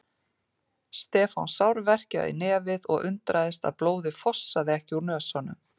Stefán sárverkjaði í nefið og undraðist að blóðið fossaði ekki úr nösunum.